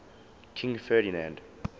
king ferdinand